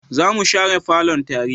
za mu share falon tare